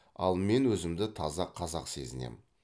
ал мен өзімді таза қазақ сезінемін